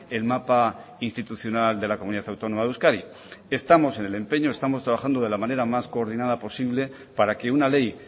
el mapa institucional de la comunidad autónoma de euskadi estamos en el empeño estamos trabajando de la manera más coordinada posible para que una ley